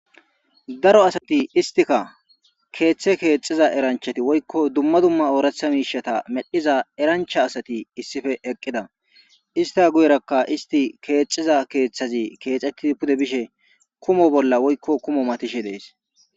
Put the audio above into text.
Daro asati istika keeththe keexiza eranchati woykko dumma dumma ooratha miishata medhiza erancha asati issife eqqida ista guyerakka isti keexiza keeththazi keexetti pude bishe kumo bolla woykko kumo matishe dees.